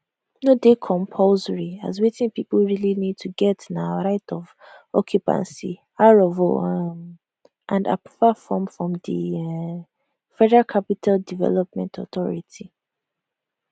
no dey compulsory as wetin pipo really need to get na right of occupancy r of o um and approval from di um federal capital development authority